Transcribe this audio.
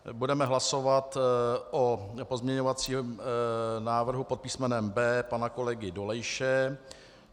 Budeme hlasovat o pozměňovacím návrhu pod písmenem B pana kolegy Dolejše.